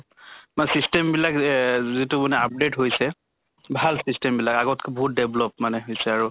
system বিলাক এহ যিটো মানে update হৈছে, ভাল system বিলাক আগতকে বহুত develop মানে হৈছে আৰু।